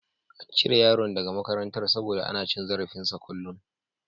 An cire yaron daga makarantar saboda ana cin zarafinsa a kullun.